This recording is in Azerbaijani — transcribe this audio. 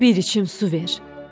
Bir içim su ver.